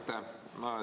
Aitäh!